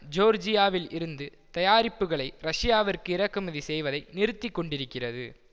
ஜோர்ஜியாவில் இருந்து தயாரிப்புக்களை ரஷ்யாவிற்கு இறக்குமதி செய்வதை நிறுத்தி கொண்டிருக்கிறது